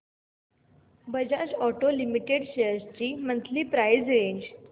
Bajaj auto limited shares ची monthly price range